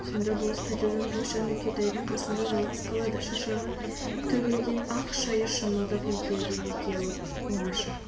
сонда болыс қайтадан ойша нүкетайдың қасында жалғыз қалады шашағы төгілген ақ шәйі шымылдық екеуден екеу оңаша